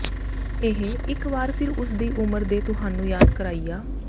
ਇਹ ਇਕ ਵਾਰ ਫਿਰ ਉਸ ਦੀ ਉਮਰ ਦੇ ਤੁਹਾਨੂੰ ਯਾਦ ਕਰਾਇਆ